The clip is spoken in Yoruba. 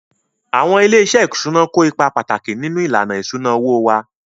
Àwọn ilé-iṣẹ́ ìṣúná kó ipa pàtàkì nínú ìlànà ìṣúná owó wa